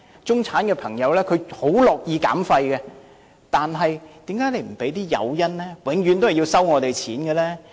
中產朋友很樂意減廢，但為何不提供誘因，永遠都是向我們收費？